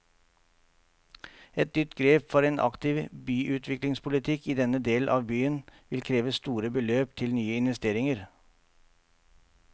Et nytt grep for en aktiv byutviklingspolitikk i denne del av byen vil kreve store beløp til nye investeringer.